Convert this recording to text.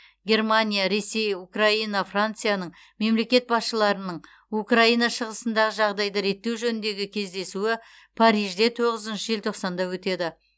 германия ресей украина францияның мемлекет басшыларының украина шығысындағы жағдайды реттеу жөніндегі кездесуі парижде тоғызыншы желтоқсанда өтеді